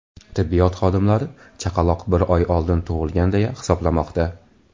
Tibbiyot xodimlari chaqaloq bir oy oldin tug‘ilgan deya hisoblamoqda.